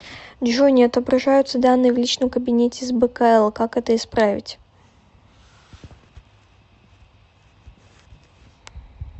джой не отображаются данные в личном кабинете с бкл как это исправить